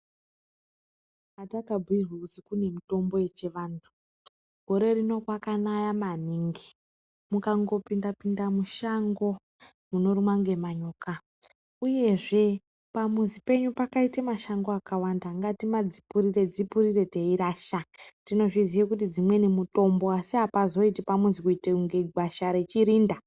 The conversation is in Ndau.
Hatakabhuirwr kuzi kune mutombo yechivantu gore rino kwakanaya maningi mukangopinde pinde mushango munorumwa ngemanyoka uyezve pamuzi penyu pakaite mashango akwanda ngatimadzilurire dzipurire teirasha tinozviziya kuti dzimweni mutombo asi apazoiti pamuzi kuite unge gwasha rechirinda.